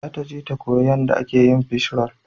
Za ta je ta koya yanda ake yin fishroll